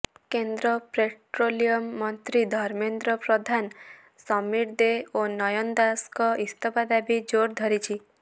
କେନ୍ଦ୍ର ପେଟ୍ରୋଲିୟମ ମନ୍ତ୍ରୀ ଧର୍ମେନ୍ଦ୍ର ପ୍ରଧାନ ସମୀର ଦେ ଓ ନୟନ ଦାସଙ୍କ ଇସ୍ତଫା ଦାବି ଜୋର ଧରିଛି